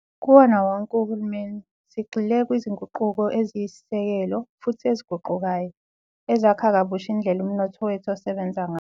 Kuwona wonke uhulumeni, sigxile kwizinguquko eziyisisekelo futhi eziguqukayo, ezakha kabusha indlela umnotho wethu osebenza ngayo.